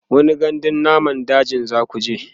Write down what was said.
wani gandun namun dajin zakuje?